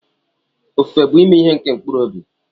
Ofufe bu ihe nke mkpụrụ obi.